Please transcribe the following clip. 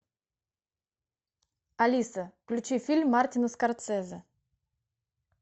алиса включи фильм мартина скорсезе